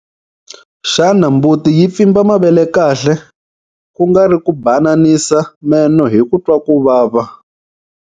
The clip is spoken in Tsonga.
Xana mbuti yi pfimba mavele kahle, ku nga ri ku bananisa meno hi ku twa ku vava?